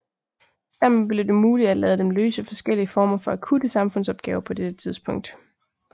Dermed blev det muligt at lade dem løse forskellige former for akutte samfundsopgaver på dette tidspunkt